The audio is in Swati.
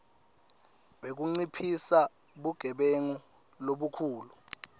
wekunciphisa bugebengu lobukhulu